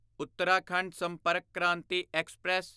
Uttarakhand Sampark Kranti express